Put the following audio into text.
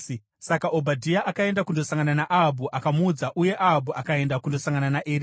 Saka Obhadhia akaenda kundosangana naAhabhu akamuudza, uye Ahabhu akaenda kundosangana naEria.